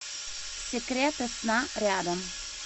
секреты сна рядом